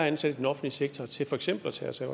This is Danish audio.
antal i den offentlige sektor til for eksempel at tage sig